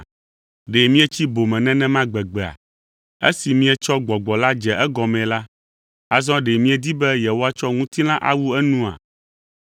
Ɖe mietsi bome nenema gbegbea? Esi mietsɔ Gbɔgbɔ la dze egɔmee la, azɔ ɖe miedi be yewoatsɔ ŋutilã awu enua?